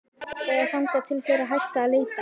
Eða þangað til þeir hætta að leita.